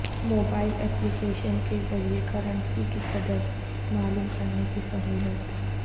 mobile application کے ذریعہ currency کی قدر معلوم کرنے کی سہولت